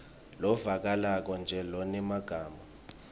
lovakalako nje lonemagama